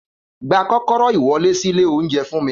Gba kókóró iwọle si ile ounjẹ fún mi!